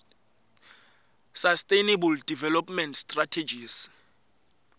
sustainable development strategies